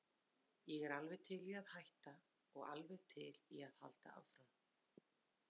Ég er alveg til í að hætta og alveg til í að halda áfram.